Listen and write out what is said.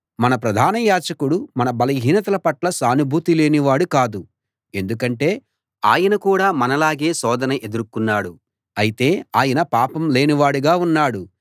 మన ప్రధాన యాజకుడు మన బలహీనతల పట్ల సానుభూతి లేని వాడు కాడు ఎందుకంటే ఆయన కూడా మనలాగే శోధన ఎదుర్కొన్నాడు అయితే ఆయన పాపం లేని వాడుగా ఉన్నాడు